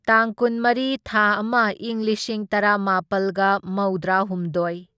ꯇꯥꯡ ꯀꯨꯟꯃꯔꯤ ꯊꯥ ꯑꯃ ꯢꯪ ꯂꯤꯁꯤꯡ ꯇꯔꯥꯃꯥꯄꯜꯒ ꯃꯧꯗ꯭ꯔꯥꯍꯨꯝꯗꯣꯢ